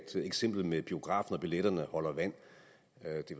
eksempel med biografen og billetterne holder vand